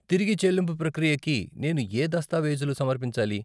తిరిగి చెల్లింపు ప్రక్రియకి నేను యే దస్తావేజులు సమర్పించాలి?